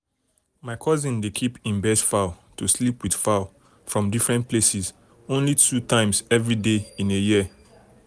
my cousin dey keep him best fowl to sleep with fowl from different places um only two times everyday year.